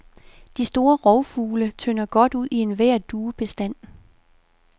De store rovfugle tynder godt ud i enhver duebestand.